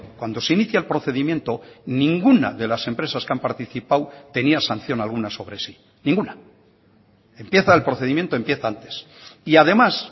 cuando se inicia el procedimiento ninguna de las empresas que han participado tenía sanción alguna sobre sí ninguna empieza el procedimiento empieza antes y además